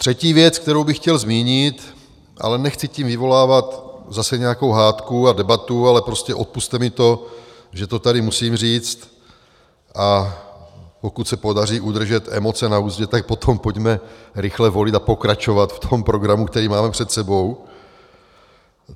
Třetí věc, kterou bych chtěl zmínit, ale nechci tím vyvolávat zase nějakou hádku a debatu, ale prostě odpusťte mi to, že to tady musím říct, a pokud se podaří udržet emoce na uzdě, tak potom pojďme rychle volit a pokračovat v tom programu, který máme před sebou.